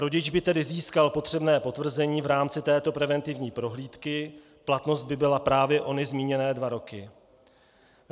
Rodič by tedy získal potřebné potvrzení v rámci této preventivní prohlídky, platnost by byla právě ony zmíněné dva roky.